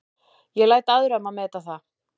Ég læt aðra um að meta það.